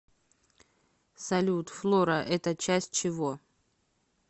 салют флора это часть чего